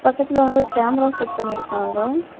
பக்கத்துல வந்து ஒரு கேமரா செட் பண்ணிருக்காங்க.